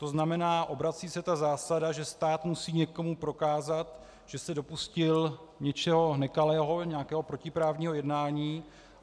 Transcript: To znamená, obrací se ta zásada, že stát musí někomu prokázat, že se dopustil něčeho nekalého, nějakého protiprávního jednání.